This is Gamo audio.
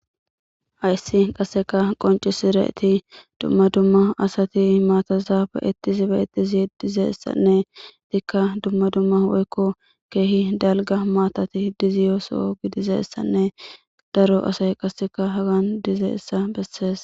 Hayssi qasseka qoncisireti dumma dumma asati maatazaabe ittisi be etizi dizeessanne tikka dumma dumma woykko keehi dalga maatati diziyooso gidizeessanne daro asay qasseka hagan dize issa bessees.